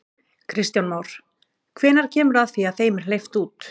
Kristján Már: Hvenær kemur að því að þeim er hleypt út?